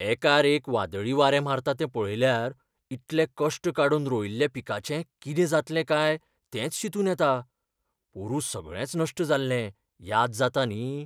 एकार एक वादळी वारें मारता तें पळयल्यार इतले कश्ट काडून रोयिल्ल्या पिकाचें कितें जातलें काय तेंच चिंतून येता. पोरूं सगळेंच नश्ट जाल्लें, याद जाता न्ही?